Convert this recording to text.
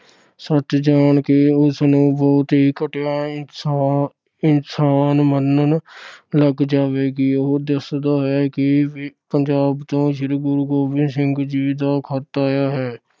ਸੱਚ ਜਾਣ ਕੇ ਉਸਨੂੰ ਬਹੁਤ ਹੀ ਘਟੀਆ ਇਨਸਾ ਅਹ ਇਨਸਾਨ ਮੰਨਣ ਲੱਗ ਜਾਵੇਗੀ। ਉਹ ਦੱਸਦਾ ਹੈ ਕਿ ਪੰਜਾਬ ਤੋਂ ਸ੍ਰੀ ਗੁਰੂ ਗੋਬਿੰਦ ਸਿੰਘ ਜੀ ਦਾ ਖਤ ਆਇਆ ਹੈ।